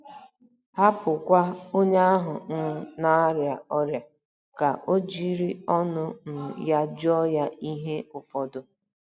Hapụkwa onye ahụ um na - arịa ọrịa ka o jiri ọnụ um ya jụọ ya ihe ụfọdụ.